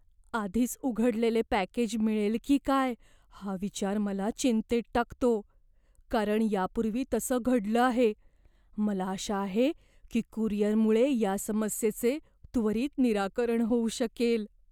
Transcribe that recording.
आधीच उघडलेले पॅकेज मिळेल की काय हा विचार मला चिंतेत टाकतो कारण यापूर्वी तसं घडलं आहे, मला आशा आहे की कुरिअरमुळे या समस्येचे त्वरित निराकरण होऊ शकेल.